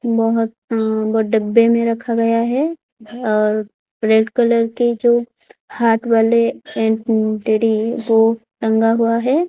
बहुत डब्बे में रखा गया हैं और रेड कलर के जो हार्ट वाले टैडी वो टंगा हुआ है।